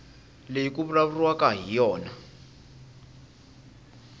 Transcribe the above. leyi ku vulavuriwaka hi yona